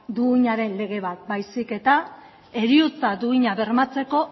duinaren lege bat baizik eta heriotza duina bermatzeko